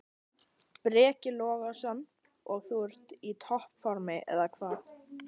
Breki Logason: Og þú ert í topp formi, eða hvað?